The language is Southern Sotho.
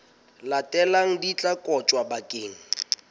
latelang di tla kotjwa bakeng